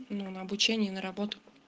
ну на обучение и на работу